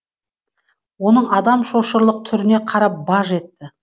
оның адам шошырлық түріне қарап баж етті